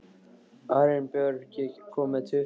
Arinbjörg, ég kom með tuttugu húfur!